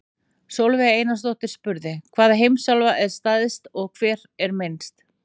Sólveig Einarsdóttir spurði: Hvaða heimsálfa er stærst og hver er minnst?